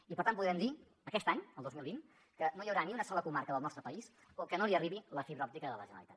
i per tant podem dir aquest any el dos mil vint que no hi haurà ni una sola comarca del nostre país que no li arribi la fibra òptica de la generalitat